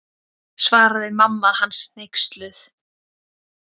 Svaraði mamma hans hneyksluð.